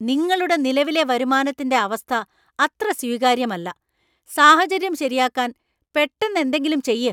നിങ്ങളുടെ നിലവിലെ വരുമാനത്തിന്‍റെ അവസ്ഥ അത്ര സ്വീകാര്യമല്ല. സാഹചര്യം ശരിയാക്കാൻ പെട്ടന്ന് എന്തെങ്കിലും ചെയ്യ്.